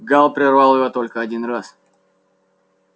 гаал прервал его только один раз